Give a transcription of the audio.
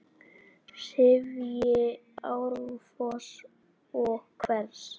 sifji árfoss og hvers!